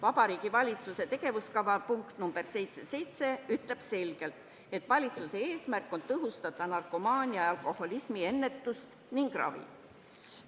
Vabariigi Valitsuse tegevuskava punkt 77 ütleb selgelt, et valitsuse eesmärk on tõhustada narkomaania ja alkoholismi ennetust ning ravi.